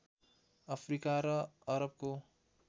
Africa र अरबको